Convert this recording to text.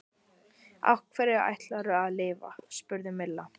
Á hverju ætlarðu að lifa? spurði Milla.